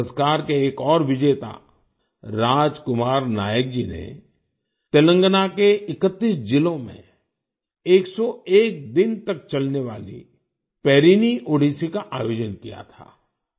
इस पुरस्कार के एक और विजेता राज कुमार नायक जी ने तेलंगाना के 31 जिलों में 101 दिन तक चलने वाली पेरिनी ओडिसी का आयोजन किया था